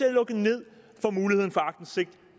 at lukke ned for muligheden for aktindsigt